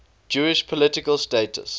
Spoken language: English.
jewish political status